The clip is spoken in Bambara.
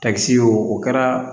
Takisi y'o o kɛra